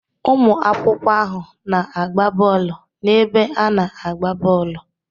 Ụmụ akwụkwọ ahụ na-agba bọọlụ n'ebe ana-agba bọọlụ.